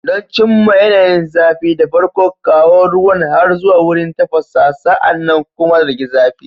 Don cimma yanayin zafi, da farko, kawo ruwan har zuwa wurin tafasa, sa'an nan kuma rage zafi.